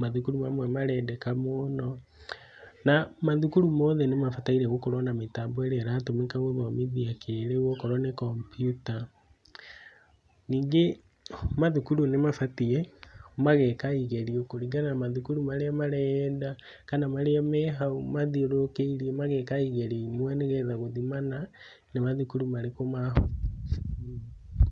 mathũkũrũ mamwe marendeka mũno , na mathũkũrũ mothe nĩ mabataire gũkorwo na mĩtambo ĩrĩa ĩratũmĩka gũthomithia kĩrĩu okorwo nĩ kompyuta , ningĩ mathũkũrũ nĩ mabatiĩ, mageka igerio kũrĩngana na mathũkũrũ marĩa marĩa yenda, kana mathũkũrũ marĩa me hau mathiũrũkĩrie mageka igerio imwe, nĩgetha gũthimana, nĩ mathũkũrũ marĩkũ .